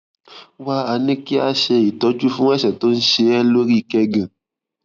wá a ní kí a ṣe ìtọjú fún àìsàn tó ń ṣe é lórí kẹgàn